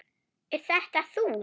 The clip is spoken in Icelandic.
Er þetta þú?